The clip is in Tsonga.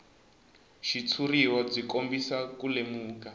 xitshuriwa byi kombisa ku lemuka